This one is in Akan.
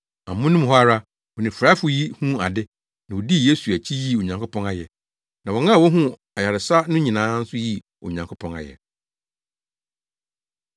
Amono mu hɔ ara, onifuraefo yi huu ade, na odii Yesu akyi yii Onyankopɔn ayɛ. Na wɔn a wohuu ayaresa no nyinaa nso yii Onyankopɔn ayɛ.